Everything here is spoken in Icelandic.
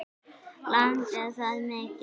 Langaði það mikið.